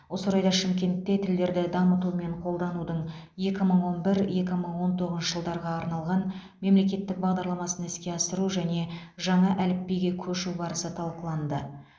осы орайда шымкентте тілдерді дамыту мен қолданудың екі мың он бір екі мың он тоғызыншы жылдарға арналған мемлекеттік бағдарламасын іске асыру және жаңа әліпбиге көшу барысы талқыланды